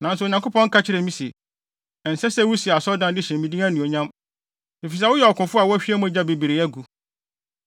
nanso Onyankopɔn ka kyerɛɛ me se, ‘Ɛnsɛ sɛ wusi asɔredan de hyɛ me din anuonyam, efisɛ woyɛ ɔkofo a woahwie mogya bebree agu.’